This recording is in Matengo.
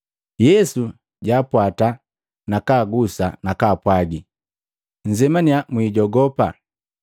Yesu jwaapwata, nakagusa nakapwagi, “Nzemania, mwiijogopa!”